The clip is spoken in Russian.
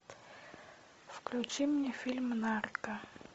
включи мне фильм нарко